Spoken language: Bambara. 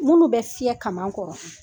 Munun bɛ fiyɛ kaman kɔrɔ.